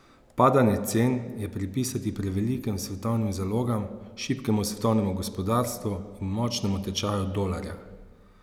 Padanje cen je pripisati prevelikim svetovnim zalogam, šibkemu svetovnemu gospodarstvu in močnemu tečaju dolarja.